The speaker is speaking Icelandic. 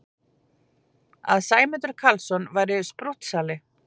Að Sæmundur Karlsson væri sprúttsali!